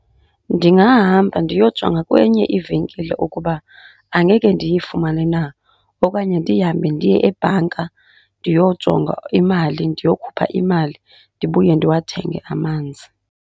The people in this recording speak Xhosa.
Ndingahamba ndiyojonga kwenye ivenkile ukuba angeke ndiyifumane na. Okanye ndihambe ndiye ebhanka ndiyojonga imali, ndiyokhupha imali ndibuye ndiwathenge amanzi.